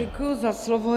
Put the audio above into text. Děkuji za slovo.